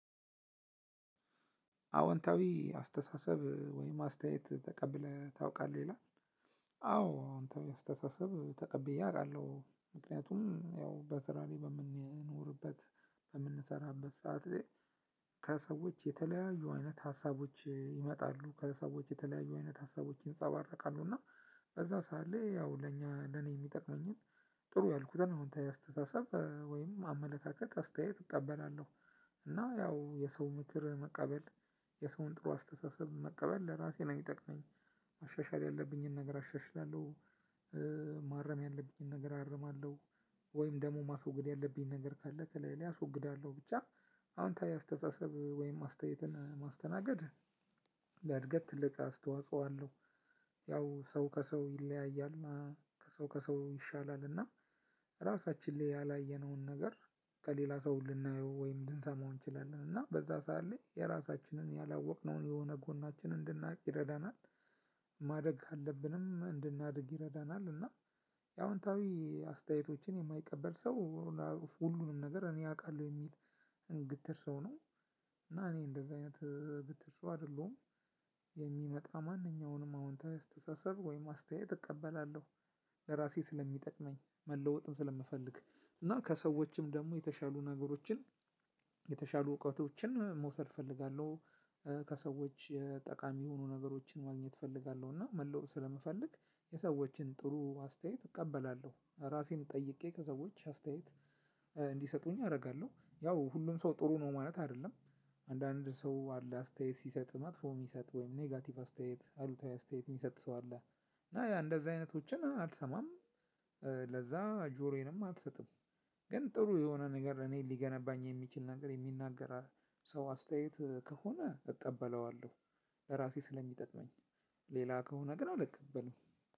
አዎንታዊ አስተሳሰብ ወይም አስተያየት ተቀብለህ ታውቃለህ ይላል? አዎ አሁን አስተሳሰብ ተቀብዬ አውቃለሁ ምክንያቱም ያው በስራዬ በምንኖርበት በምንሰራበት ሰዓት። ከሰዎች የተለያዩ አይነት ሀሳቦች ይመጣሉ ከሰዎች የተለያዩ አይነት ሀሳቦች ይንጸባረቃሉ እና በዛ ሰዓት ላይ ያው ለእኛ ለኔ የሚጠቅመኝን ጥሩ ያልኩትን አዎንታዊ አስተሳሰብ ወይም አመለካከት አስተያየት እቀበላለሁ። እና ያው የሰው ምክር መቀበል የሰውን ጥሩ አስተሳሰብ መቀበል ለራሴ ነው የሚጠቅመኝ። ማሻሻል ያለብኝን ነገር አሻሽላለሁ። ማረም ያለብኝን ነገር አርማለሁ። ወይም ደግሞ ማስወገድ ያለብኝ ነገር ካለ ከላይ ላይ አስወግዳለሁ ብቻ። አውንታዊ አስተሳሰብ ወይም አስተያየትን ማስተናገድ ለእድገት ትልቅ አስተዋጽኦ አለው። ሰው ከሰው ይለያያል እና ሰው ከሰው ይሻላልና። ራሳችን ላይ ያላየነውን ነገር ከሌሎች ሰው ልናየው ወይም ልንሰማው እንችላለን እና በዛ ሰዓት ላይ የራሳችንን ያላወቅነውን የሆነ ጎናችን እንድናውቅ ይረዳናል። ማደግ አለብንም እንድናድግ ይረዳናል። እና አዎንታዊ አስተያየቶችን የማይቀበል ሰው ሁሉንም ነገር እኔ አውቃለሁ የሚል እንግትር ሰው ነው። እና እኔ እንደዚህ አይነት ግትር ሰው አይደለሁም። የሚመጣ ማንኛውንም አዎንታዊ አስተሳሰብ ወይም አስተያየት እቀበላለሁ። ለራሴ ስለሚጠቅመኝ መለወጥም ስለምፈልግ እና ከሰዎችም ደግሞ የተሻሉ ነገሮችን የተሻሉ እውቀቶችን መውሰድ እፈልጋለሁ። ከሰዎች ጠቃሚ የሆኑ ነገሮችን ማግኘት እፈልጋለሁ። እና መለወጥ ስለምፈልግ የሰዎችን ጥሩ አስተያየት እቀበላለሁ። ራሴን ጠይቄ ከሰዎች አስተያየት እንዲሰጡኝ አደርጋለሁ። ያው ሁሉም ሰው ጥሩ ነው ማለት አይደለም። አንዳንድ ሰው አለ አስተያየት ሲሰጥ መጥፎ የሚሰጥ ወይም ኔጋቲቭ አስተያየት አሉታዊ አስተያየት የሚሰጥ ሰው አለ። እና ያ እንደዛ አይነቶችን አልሰማም። ለዛ ጆሮዬንም አልሰጥም። ግን ጥሩ የሆነ ነገር እኔ ሊገነባኝ የሚችል ነገር የሚናገር ሰው አስተያየት ከሆነ እጠበለዋለሁ። ለራሴ ስለሚጠቅመኝ። ሌላ ከሆነ ግን አልቀበልም።